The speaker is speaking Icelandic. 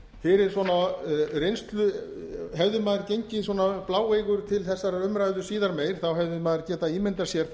fyrir svona reynslu hefði maður gengið svona bláeygur til þessarar umræðu síðar meir hefði maður getað ímyndað sér